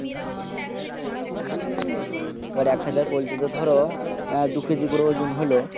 আর এক হাজার পোল্টি তে ধরো দু কেজি করে অজুন হলো